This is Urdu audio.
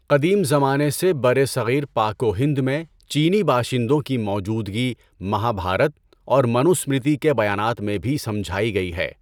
قدیم زمانے سے برصغیر پاک و ہند میں چینی باشندوں کی موجودگی مہابھارت اور منو اسمرتی کے بیانات میں بھی سجھائی گئی ہے۔